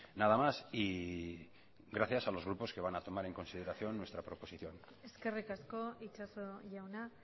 nada más y gracias a los grupos que van a tomar en consideración nuestra proposición eskerrik asko itxaso jauna